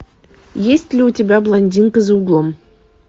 есть ли у тебя блондинка за углом